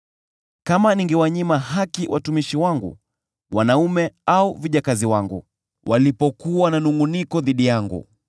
“Kama ningewanyima haki watumishi wangu wanaume au vijakazi wangu, walipokuwa na manungʼuniko dhidi yangu,